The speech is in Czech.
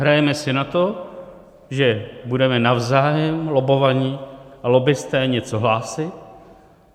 Hrajeme si na to, že budeme navzájem, lobbovaní a lobbisté, něco hlásit.